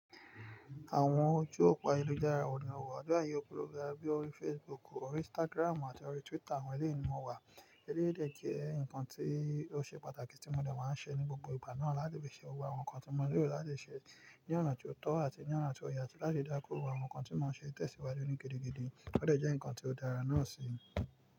Àwọn ojú òpo ayelujára wò ní ọwọ́. Ọju opo àyèlujara bíi orí Facebook, orí Instagram àti orí Twitter àwọn eléyi ni mo wà. Eléèdè jẹ́ ǹkan tí ó ṣe pàtàkì tí mo dẹ̀ wá ń ṣe ní gbogbo ìgbà náà láti fi ṣe òwú àwọn nǹkan tí mo rí, láti ṣe ní ọ̀nà tí ó tọ́ àti ní ọ̀nà tí ó yẹ àti láti dákó òwú àwọn nǹkan tí mo ṣe tẹ̀síwájú ní gidigidi. Ó dẹ̀ jẹ́ ǹkan tí ó dára náà sì.